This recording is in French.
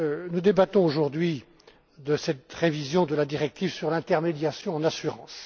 Nous débattons aujourd'hui de cette révision de la directive sur l'intermédiation en assurance.